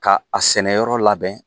Ka a sɛnɛyɔrɔ labɛn